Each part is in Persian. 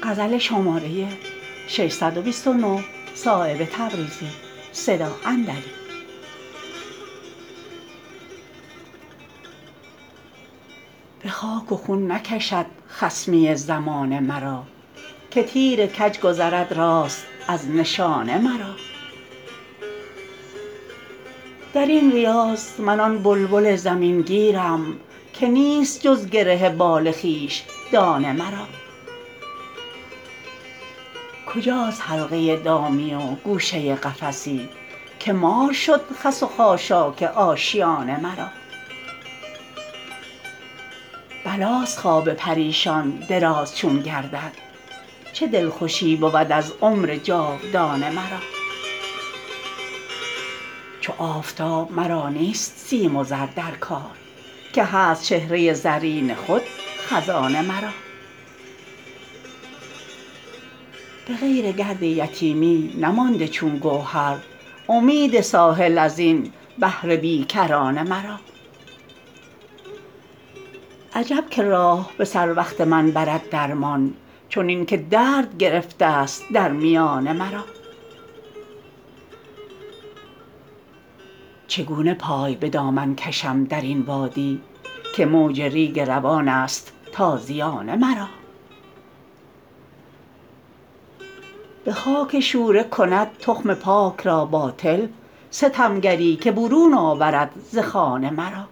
به خاک و خون نکشد خصمی زمانه مرا که تیر کج گذرد راست از نشانه مرا درین ریاض من آن بلبل زمین گیرم که نیست جز گره بال خویش دانه مرا کجاست حلقه دامی و گوشه قفسی که مار شد خس و خاشاک آشیانه مرا بلاست خواب پریشان دراز چون گردد چه دلخوشی بود از عمر جاودانه مرا چو آفتاب مرا نیست سیم و زر در کار که هست چهره زرین خود خزانه مرا به غیر گرد یتیمی نمانده چون گوهر امید ساحل ازین بحر بیکرانه مرا عجب که راه به سر وقت من برد درمان چنین که درد گرفته است در میانه مرا چگونه پای به دامن کشم درین وادی که موج ریگ روان است تازیانه مرا به خاک شوره کند تخم پاک را باطل ستمگری که برون آورد ز خانه مرا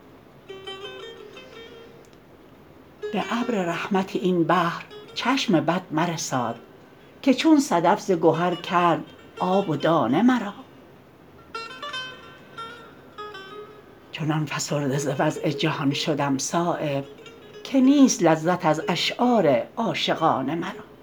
به ابر رحمت این بحر چشم بد مرساد که چون صدف ز گهر کرد آب و دانه مرا چنان فسرده ز وضع جهان شدم صایب که نیست لذت از اشعار عاشقانه مرا